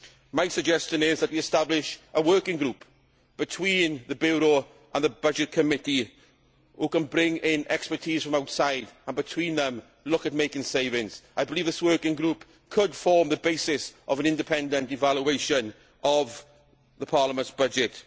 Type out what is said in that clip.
My suggestion is that we establish a working group between the Bureau and the Budgets Committee, who can bring in expertise from outside and between them look at making savings. I believe this working group could form the basis of an independent evaluation of Parliament's budget.